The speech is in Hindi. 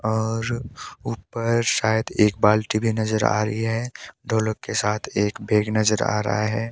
और ऊपर शायद एक बाल्टी भी नजर आ रही है दो लोग के साथ एक बैग नजर आ रहा है।